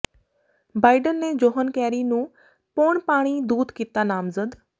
Biden ਨੇ John Kerry ਨੂੰ ਪੌਣਪਾਣੀ ਦੂਤ ਕੀਤਾ ਨਾਮਜ਼ਦ